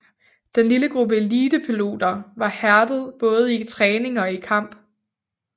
Den lille gruppe elitepiloter var hærdet i både træning og kamp